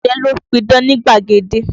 Ọ̀jẹ̀ ló ń pidán nígbàgede.